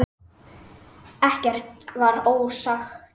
Ekkert var ósagt.